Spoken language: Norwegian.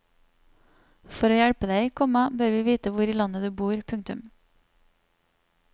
For å hjelpe deg, komma bør vi vite hvor i landet du bor. punktum